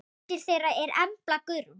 Dóttir þeirra er Embla Guðrún.